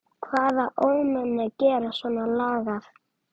Hvaða ómenni gera svona lagað?